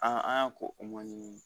an y'a ko o man ɲini